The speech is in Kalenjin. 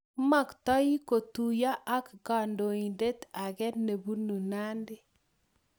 Maktoii kotuyo ak kandoiindet ake nebunu Nandi